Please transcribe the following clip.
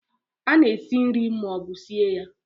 A na-esi nri ma ọ bụ sie ya